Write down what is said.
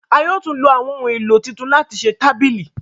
a yóò tún ló àwọn ohùn èlò títún láti ṣe tábìlì